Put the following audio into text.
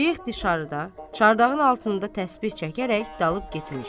Şeyx dışarıda, çardağın altında təsbih çəkərək dalıb getmiş.